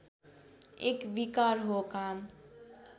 एक विकार हो काम